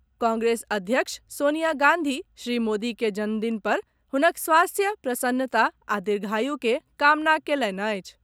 कांग्रेस अध्यक्ष सोनिया गांधी श्री मोदी के जन्मदिन पर हुनक स्वास्थ्य, प्रसन्नता आ दीर्घायु के कामना कयलनि अछि।